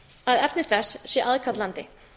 að efni þess sé aðkallandi